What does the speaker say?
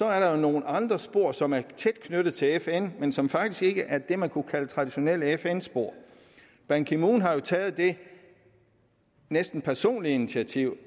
er der nogle andre spor som er tæt knyttet til fn men som faktisk ikke er det man kunne kalde det traditionelle fn spor ban ki moon har taget det næsten personlige initiativ